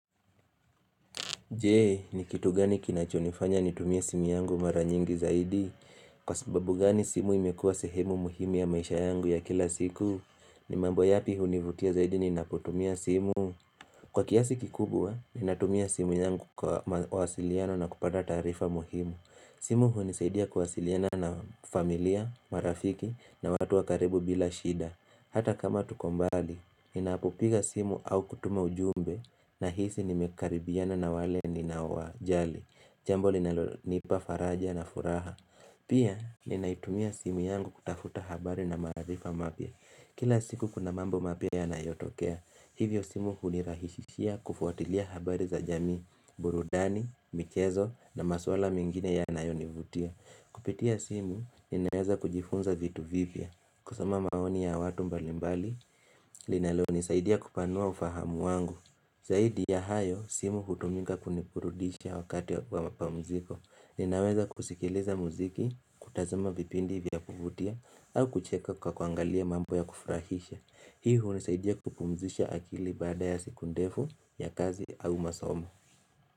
Jee ni kitu gani kinachonifanya nitumie simu yangu mara nyingi zaidi Kwa sababu gani simu imekua sehemu muhimu ya maisha yangu ya kila siku ni mambo yapi hunivutia zaidi ninapotumia simu? Kwa kiasi kikubwa ninatumia simu yangu kwa mawasiliano na kupata taarifa muhimu simu hunisaidia kuwasiliana na familia, marafiki na watu wa karibu bila shida Hata kama tuko mbali ninapopiga simu au kutuma ujumbe Nahisi nimekaribiana na wale ninawajali Jambo linalonipa faraja na furaha Pia ninaitumia simu yangu kutafuta habari na maarifa mapya Kila siku kuna mambo mapya yanayotokea Hivyo simu hunirahishishia kufuatilia habari za jami burudani, michezo na maswala mingine yanayonivutia Kupitia simu ninaeza kujifunza vitu vivyo kusoma maoni ya watu mbalimbali linalonisaidia kupanua ufahamu wangu Zahidi ya hayo, simu hutumika kuniburudisha wakati wa mapamziko. Ninaweza kusikiliza muziki, kutazama vipindi vya kuvutia, au kucheka kwa kuangalia mambo ya kufurahisha. Hii hunisaidia kupumzisha akili baada ya siku ndefu ya kazi au masomo.